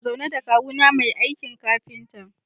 Ina zaune da kawuna mai aikin kafinta.